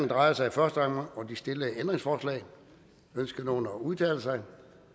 drejer sig i første omgang om de stillede ændringsforslag ønsker nogen at udtale sig